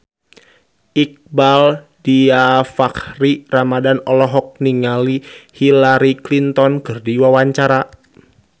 Iqbaal Dhiafakhri Ramadhan olohok ningali Hillary Clinton keur diwawancara